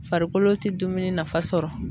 Farikolo tɛ dumuni nafa sɔrɔ.